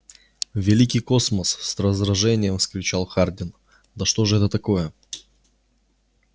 великий космос с раздражением вскричал хардин да что же это такое